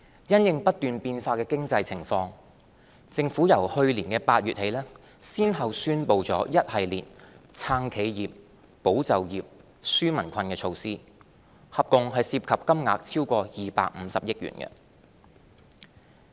因應不斷變化的經濟情況，政府由去年8月起先後宣布一系列"撐企業、保就業、紓民困"的措施，合共涉及金額超過250億元。